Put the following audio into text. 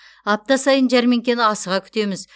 апта сайын жәрмеңкені асыға күтеміз